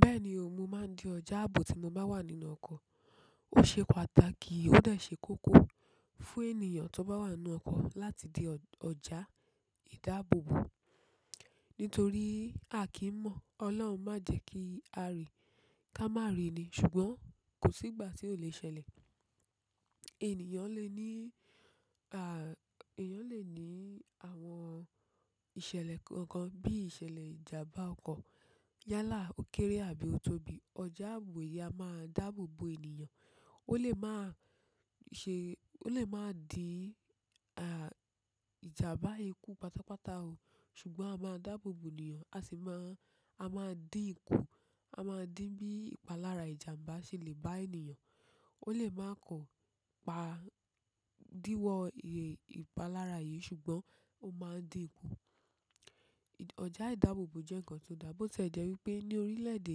Bẹ́ẹ̀ni, òun máa di ọjà ààbò tí mo bá wà nínú ọkọ̀. Ò ṣe pàtàkì, ó dẹ kókó fún ẹniyan tó bá wà nú ọkọ̀ láti di ọjà ìdábòbò nítorí à kí mọ̀, Ọlọ́run má jẹ́ kí a rí ká má rí ni, ṣùgbọ́n kò sí ìgbà tí ó lè ṣẹlẹ̀. Ènìyàn lè ní, à, ènìyàn lè ní àwọn ìṣẹ̀lẹ̀ kan kan bí ìṣẹ̀lẹ̀ ìjàmbá ọkọ̀, yálà, òkéré àbí otobí. Ọjà ààbò yìí a máa dáàbòbò ènìyàn. Ó lè máa ṣe, ó lè máa dí, ìjàmbá ikú pátápátá o. Ṣùgbọ́n a máa dáàbòbò ènìyàn, a sì máa, a máa dín ikú, a máa dín bí ìpalára ìjàmbá ṣe lè bá ènìyàn. Ó lè máa kọ, pa, díwọ́ ìpalára yìí ṣùgbọ́n ó máa dín ikú. Ọjà ìdáàbòbò jẹ́ ǹkan tó dà bo tilẹ wípé ní orílẹ̀-èdè,